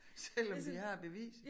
Selvom vi har beviset